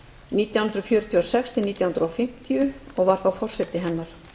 nítján hundruð fjörutíu og sex nítján hundruð fimmtíu og var þá forseti hennar